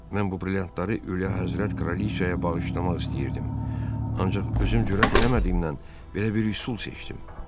mən bu brilliantları Üliyyə Həzrət kraliçaya bağışlamaq istəyirdim, ancaq özüm cürət eləmədiyimdən belə bir üsul seçdim.